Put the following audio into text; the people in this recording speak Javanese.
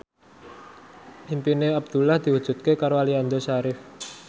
impine Abdullah diwujudke karo Aliando Syarif